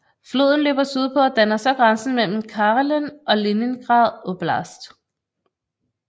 Floden løber syd på og danner så grænsen mellem Karelen og Leningrad oblast